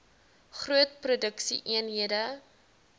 groot produksie eenhede